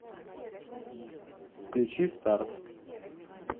включи старт